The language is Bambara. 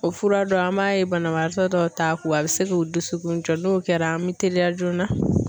O fura dɔ an b'a ye banabagatɔ dɔw ta kun a bɛ se k'o dusukun jɔ n'o kɛra an bɛ teliya joona.